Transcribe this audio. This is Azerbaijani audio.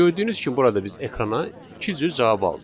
Gördüyünüz kimi burada biz ekrana iki cür cavab aldıq.